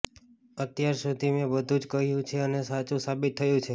અત્યાર સુધી મેં બધું જ કહ્યું છે અને સાચું સાબિત થયું છે